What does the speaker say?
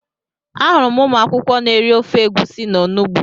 Ahụrụ m ụmụ akwụkwọ n'eri ofe egwusi na onugbu